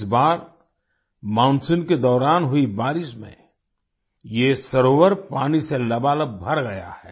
इस बार मानसून के दौरान हुई बारिश में ये सरोवर पानी से लबालब भर गया है